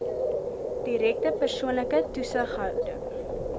direkte persoonlike toesighouding